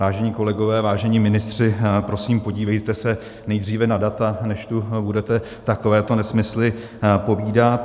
Vážení kolegové, vážení ministři, prosím, podívejte se nejdříve na data, než tu budete takovéto nesmysly povídat.